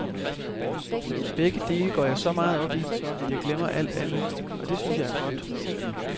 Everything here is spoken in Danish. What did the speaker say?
Begge dele går jeg så meget op i, at jeg glemmer alt andet, og det synes jeg er godt.